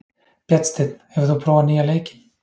Bjarnsteinn, hefur þú prófað nýja leikinn?